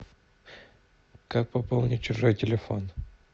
как пополнить чужой телефон